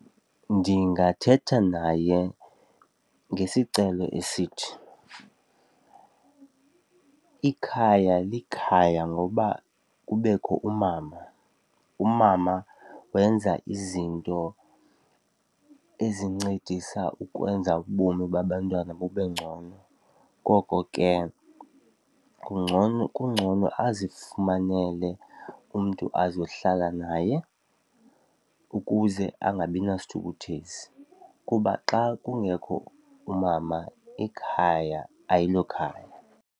Ndingathetha naye ngesicelo esithi ikhaya likhaya ngoba kubekho umama. Umama wenza izinto ezincedisa ukwenza ubomi babantwana bube ngcono, ngoko ke ngcono kungcono azifumanele umntu azohlala naye ukuze angabi nasithukuthezi kuba xa kungekho umama ekhaya, ayilokhaya.